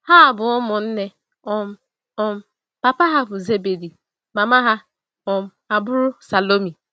Ha bụ ụmụnne um. um Papa ha bụ Zebedi, mama ha um abụrụ Salomi.